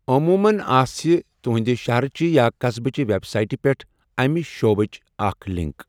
عموٗمَن آسہِ تُہنٛدِ شَہرٕچہِ یا قصبٕچہِ ویب سائٹہٕ پٮ۪ٹھ اَمہِ شعوبٕچ اکھ لِنک۔